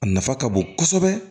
A nafa ka bon kosɛbɛ